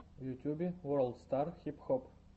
в ютюбе ворлд стар хип хоп